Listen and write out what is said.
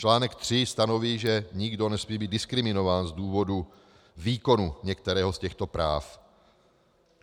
Článek tři stanoví, že nikdo nesmí být diskriminován z důvodu výkonu některého z těchto práv.